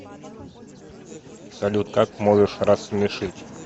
салют как можешь рассмешить